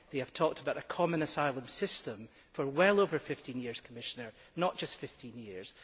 They have talked about a common asylum system for well over fifteen years, Commissioner, not just fifteen years.